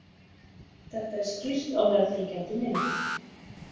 Þetta er skýrt á meðfylgjandi mynd.